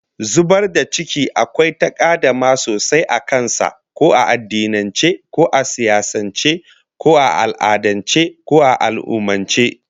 Zubar da ciki akwai takaddama sosai a kan sa, ko a addinance, ko a siyasance, ko a al'adance, ko a al'ummance